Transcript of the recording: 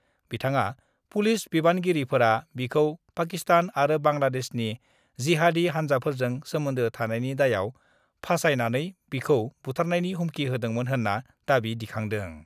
बिथाङा पुलिस बिबानगिरिफोरा बिखौ पाकिस्तान आरो बांलादेशनि जिहादि हान्जाफोरजों सोमोन्दो थानायनि दायाव फासायनानै बिखौ बुथारनायनि हुमखि होदोंमोन होन्‍ना दाबि दिखांदों।